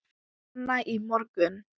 Manna í morgun.